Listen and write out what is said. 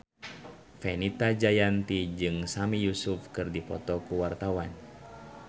Fenita Jayanti jeung Sami Yusuf keur dipoto ku wartawan